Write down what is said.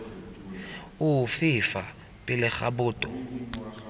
ofe fa pele ga boto